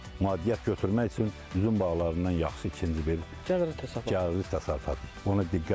Maddiyyat götürmək üçün üzüm bağlarından yaxşısı ikinci bir gəlirli təsərrüfat, gəlirli təsərrüfat.